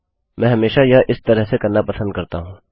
मैं हमेशा यह इस तरह से करना पसंद करता हूँ